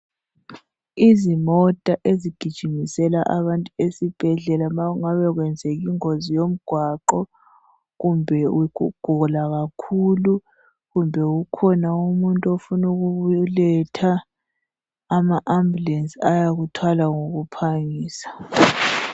Izimota ezigijimisela abantu esibhedlela ma kungabe kwenzeke ingozi yomgwaqo kumbe ukugula kakhulu kumbe ukhona umuntu ofunukubeletha. Ama ambulensi ayakuthwala ngokuphangisa.